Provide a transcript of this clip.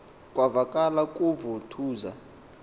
kwavakala kuvu thuza